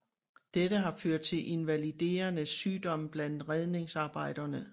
Dette har ført til invaliderende sygdomme blandt redningsarbejderne